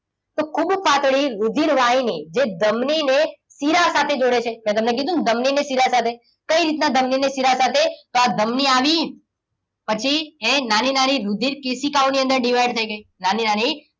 તો ખૂબ પાતળી રુધિરવાહિની જે ધમની ને શીરા સાથે જોડે છે મેં તમને કીધું ને ધમની ને શિરા સાથે. કઈ રીતના ધમનીને શીરા સાથે? તો આ ધમની આવી છે નાની નાની રુધિરકેશિકાઓ ની અંદર divide થઈ ગઈ છે નાની નાની,